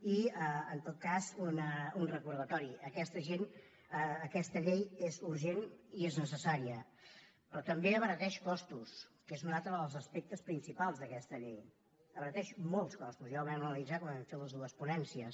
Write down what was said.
i en tot cas un recordatori aquesta llei és urgent i és necessària però també abarateix costos que és un altre dels aspectes principals d’aquesta llei abarateix molts costos ja ho vam analitzar quan vam fer les dues ponències